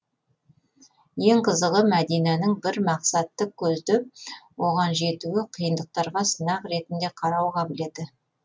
ең қызығы мадинаның бір мақсатты көздеп оған жетуі қиындықтарға сынақ ретінде қарау қабілеті